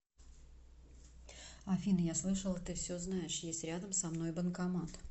афина я слышала ты все знаешь есть рядом со мной банкомат